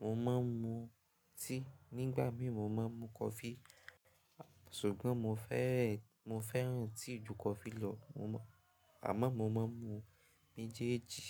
mo má a ń mu tíì, nígbà mí mo má a mu kọfí. Ṣùgbọ́n mo fẹ́, mo fẹ́ràn tíì ju kọfí lọ. Àmọ́ mo má a ń mu méjèèjì.